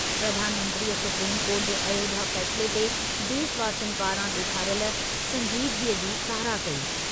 प्रधानमंत्रीअ supreme court जे अयोध्या फै़सले ते देशवासियुनि पारां ॾेखारियल संजीदगीअ जी साराह कई।